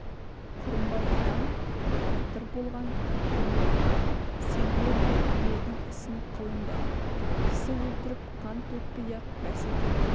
құрымбай атам батыр болған екен ғой сендер де ердің ісін қылыңдар кісі өлтіріп қан төкпей-ақ бәсекемен